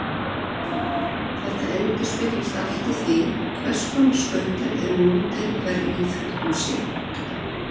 Þetta endurspeglast allt í því hvers konar skautar eru notaðir í hverri íþrótt um sig.